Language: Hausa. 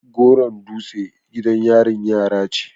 goron dutse gidan yarin yara ce